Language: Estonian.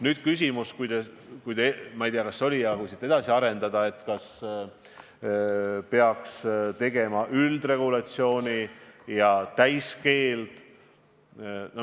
Nüüd, kui seda teemat edasi arendada, siis kas peaks kehtestama üldregulatsiooni ja täiskeelu?